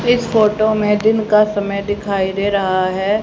इस फोटो में दिन का समय दिखाई दे रहा है।